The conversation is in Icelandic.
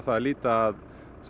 að líta að